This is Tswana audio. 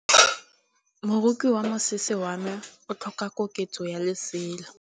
Moroki wa mosese wa me o tlhoka koketsô ya lesela.